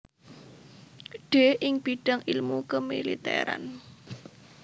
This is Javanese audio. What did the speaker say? D ing bidang ilmu kemiliteran